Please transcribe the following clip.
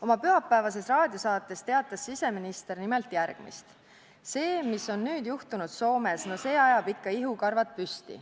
Oma pühapäevases raadiosaates teatas siseminister nimelt järgmist: "See, mis on nüüd juhtunud Soomes, no see ajab ikka ihukarvad püsti.